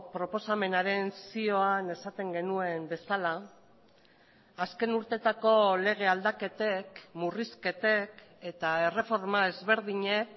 proposamenaren zioan esaten genuen bezala azken urtetako lege aldaketek murrizketek eta erreforma ezberdinek